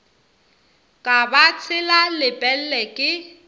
ka ba tshela lepelle ke